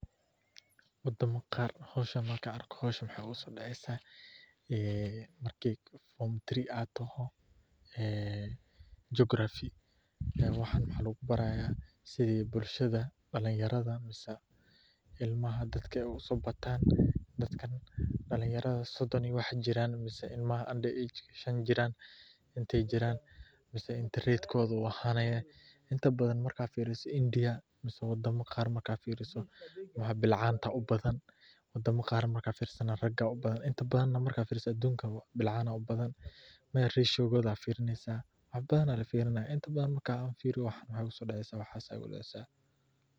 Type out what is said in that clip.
Wadama qar xoshan marka argo xosha wax oga sodacsah ah marki form three ataho ah jokarafi wax lagu baraya side bulshada dalin yarada masah ilmaha dadka sobantan dadkan dalinyarada sodon iyo wax jiran masah ilmaha under age shan jiran, inta jiran masah inta radkoda u ahanaya inta baadan marka firiso india masah wadama qar marka firiso balcanta ubaadan wadama qar marka firiso arga aya ubadan inta baadan marka firiso adunka bilcan ubaadan maya rashokoda firinaysah qabar aya la firirnaya inta badan marka firiyo wax igu sodacsah.